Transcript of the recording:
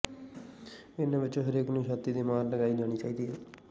ਇਨ੍ਹਾਂ ਵਿੱਚੋਂ ਹਰੇਕ ਨੂੰ ਛਾਤੀ ਦੀ ਮੁਹਰ ਲਗਾਈ ਜਾਣੀ ਚਾਹੀਦੀ ਹੈ